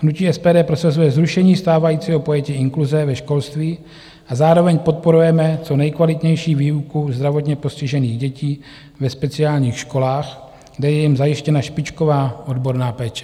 Hnutí SPD prosazuje zrušení stávajícího pojetí inkluze ve školství a zároveň podporujeme co nejkvalitnější výuku zdravotně postižených dětí ve speciálních školách, kde je jim zajištěna špičková odborná péče.